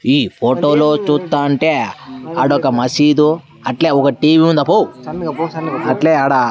ఈ ఫోటో లో చూతంటే ఆడా ఒక మసీదు అట్లే ఒక టీ_వీ ఉంది అబ్బో అట్లే ఆడ --